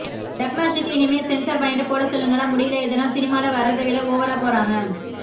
டப்மாஷ்க்கு இனிமே சென்சார் பண்ணிட்டு போட சொல்லுங்கடா முடியல இதெல்லாம் சினிமால வரத விட ஒவரா போறாங்க